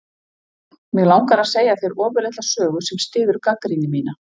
Mig langar að segja þér ofurlitla sögu sem styður gagnrýni mína.